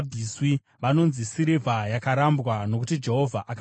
Vanonzi sirivha yakarambwa, nokuti Jehovha akavaramba.”